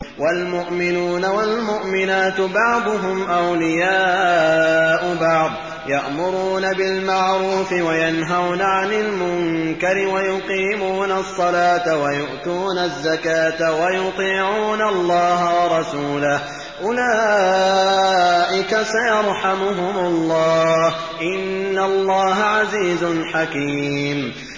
وَالْمُؤْمِنُونَ وَالْمُؤْمِنَاتُ بَعْضُهُمْ أَوْلِيَاءُ بَعْضٍ ۚ يَأْمُرُونَ بِالْمَعْرُوفِ وَيَنْهَوْنَ عَنِ الْمُنكَرِ وَيُقِيمُونَ الصَّلَاةَ وَيُؤْتُونَ الزَّكَاةَ وَيُطِيعُونَ اللَّهَ وَرَسُولَهُ ۚ أُولَٰئِكَ سَيَرْحَمُهُمُ اللَّهُ ۗ إِنَّ اللَّهَ عَزِيزٌ حَكِيمٌ